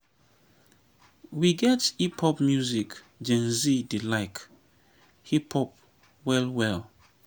we get hip pop music gen z dey like hip pop well well